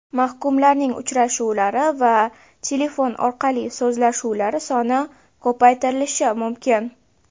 Mahkumlarning uchrashuvlari va telefon orqali so‘zlashuvlari soni ko‘paytirilishi mumkin.